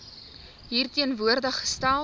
hier teenwoordig gestel